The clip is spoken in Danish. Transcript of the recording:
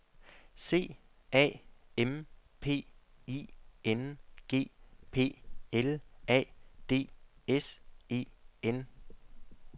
C A M P I N G P L A D S E N